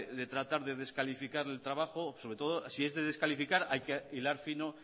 de tratar de descalificar el trabajo sobre todo si es de descalificar hay que hilar fino